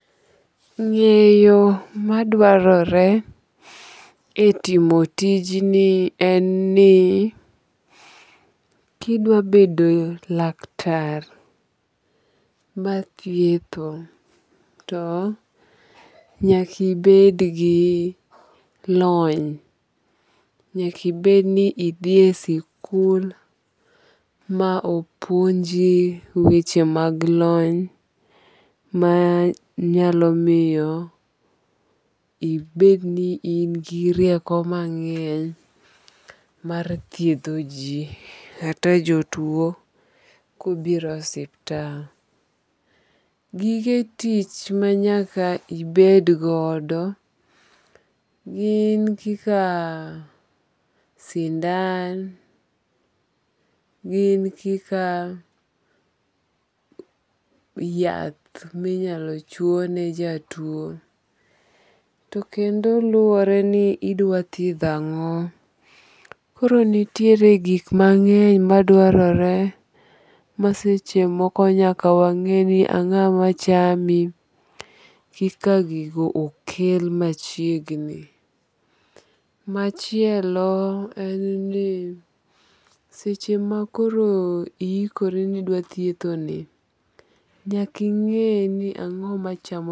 Ng'eyo madwarore e timo tijni en nikidwa bedo laktar mathietho to nyaki bed gi lony. Nyakibed ni idhiye sikul ma opuonji weche mag lony manyalo miyo ibed ni in gi rieko mang'eny mar thiedho ji kata jotuo kobiro e osiptal. Gige tich manyaka ibed godo gin kaka sindan. Gin kaka yath minyalo chuo ne jatuo. To kendo luwore ni idwa thiedho ang'o. Koro nitie gik mang'eny madwarore. Ma seche moko nyaka wang'e ni ang'o machamii koka gigo okel machiegni. Machielo en ni seche ma koro i ikori ni idwa thietho ni, nyaka ing'e ni ang'o ma chamo.